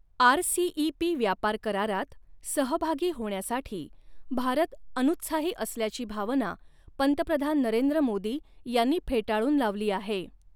RCEP व्यापार करारात सहभागी होण्यासाठी भारत अुनुत्साही असल्याची भावना पंतप्रधान नरेंद्र मोदी यांनी फेटाळून लावली आहे.